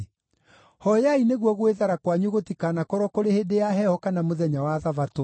Hooyai nĩguo gwĩthara kwanyu gũtikanakorwo kũrĩ hĩndĩ ya heho kana mũthenya wa Thabatũ.